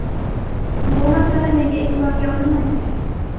Bu masala nega e’tiborga olinmagan?